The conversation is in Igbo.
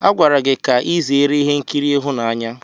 A gwara gị ka ị zere ihe nkiri ịhụnanya!